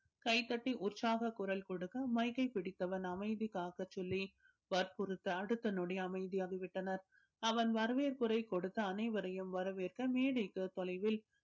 கைத்தட்டி உற்சாக குரல் கொடுக்க mic ஐ பிடித்தவன் அமைதி காக்க சொல்லி வற்புறுத்த அடுத்த நொடி அமைதி ஆகிவிட்டனர் அவன் வரவேற்புரை கொடுத்து அனைவரையும் வரவேற்க மேடைக்கு தொலைவில்